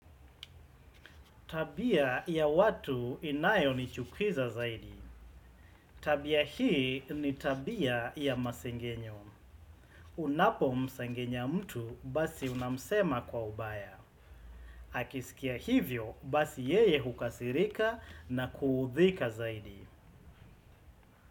Tabia ya watu inayonichukiza zaidi. Tabia hii ni tabia ya masengenyo. Unapomsengenya mtu basi unamsema kwa ubaya. Akisikia hivyo basi yeye hukasirika na kuudhika zaidi.